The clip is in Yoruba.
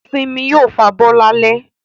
Simi yóò fabọ́ lálẹ́